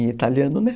Em italiano, né?